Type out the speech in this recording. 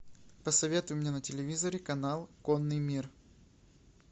посоветуй мне на телевизоре канал конный мир